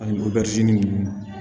Ani ninnu